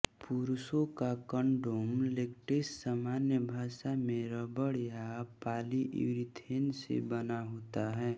पुरुषों का condom latex सामान्य भाषा में रबड़ या पॉलीयुरीथेन से बना होता है